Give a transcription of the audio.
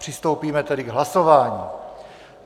Přistoupíme tedy k hlasování.